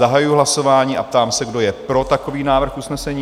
Zahajuji hlasování a ptám se, kdo je pro takový návrh usnesení?